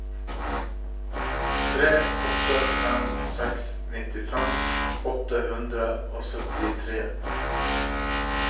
tre åtte fem seks nittifem åtte hundre og syttifire